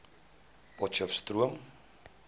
potcheftsroom